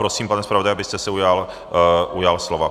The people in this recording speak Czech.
Prosím, pane zpravodaji, abyste se ujal slova.